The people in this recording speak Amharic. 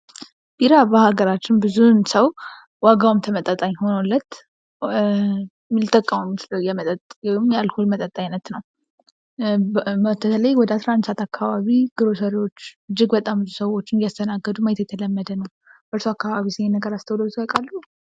ቢራ በሃገራችን ብዙውን ሰው ዋጋውም ተመጣጣኝ ሆኖለት ሊጠቀመው የሚችለው የመጠጥ ወይም የአልኮል አይነት ነው ። በተለይ ወደ አስራአንድ ሰዓት አካባቢ ግሮሰሪዎች እጅግ በጣም ብዙ ሰዎች እያስተናገዱ ማየት የተለመደ ነው ። በእርሶ አካባቢስ ይህን ነገር አስተውለውት ያውቃሉ ?